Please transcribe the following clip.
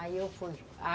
Aí eu fui.